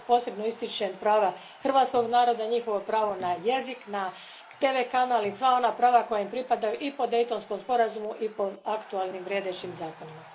Ovdje posebno ističem prava hrvatskog naroda, njihovo pravo na jezik, na TV kanal i sva ona prava koja im pripadaju i po Daytonskom sporazumu i po aktualnim, vrijedećim zakonima.